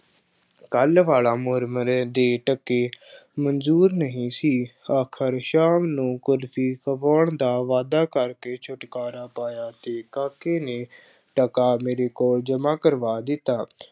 ਕੱਲ੍ਹ ਵਾਲਾ ਮੁਰਮਰੇ ਦੇ ਟਕੇ ਮਨਜ਼ੂਰ ਨਹੀਂ ਸੀ। ਆਖਰ ਸ਼ਾਮ ਨੂੰ ਕੁਲਫੀ ਖਵਾਉਣ ਦਾ ਵਾਅਦਾ ਕਰਕੇ ਛੁਟਕਾਰਾ ਪਾਇਆ ਅਤੇ ਕਾਕੇ ਨੇ ਟਕਾ ਮੇਰੇ ਕੋਲ ਜਮ੍ਹਾ ਕਰਵਾ ਦਿੱਤਾ।